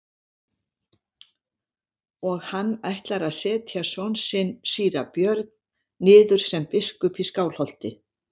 Og hann ætlar að setja son sinn síra Björn niður sem biskup í Skálholti.